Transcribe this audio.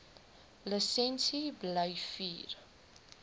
lisensie bly vier